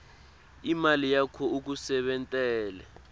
imali yakho ikusebentele